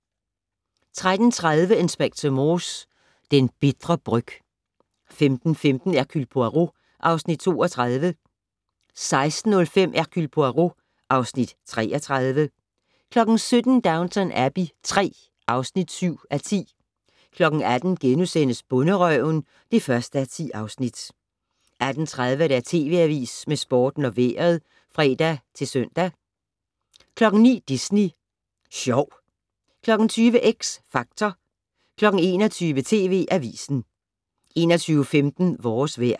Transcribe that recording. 13:30: Inspector Morse: Den bitre bryg 15:15: Hercule Poirot (Afs. 32) 16:05: Hercule Poirot (Afs. 33) 17:00: Downton Abbey III (7:10) 18:00: Bonderøven (1:10)* 18:30: TV Avisen med Sporten og Vejret (fre-søn) 19:00: Disney Sjov 20:00: X Factor 21:00: TV Avisen 21:15: Vores vejr